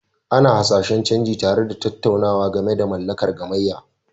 Ana hasashen canji, tare da tattaunawa game da mallakar gamayya.